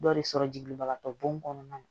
Dɔ de sɔrɔ jigin bagatɔ bon kɔnɔna na